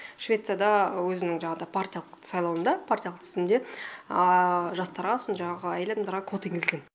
швецияда өзінің жаңағыдай партиялық сайлауында партиялық тізімінде жастарға сосын жаңағы әйел адамдарға квота енгізілген